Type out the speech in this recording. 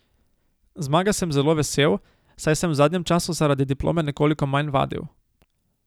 Zmage sem zelo vesel, saj sem v zadnjem času zaradi diplome nekoliko manj vadil.